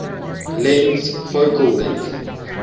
lens focal length